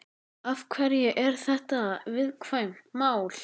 Af hverju er þetta viðkvæmt mál?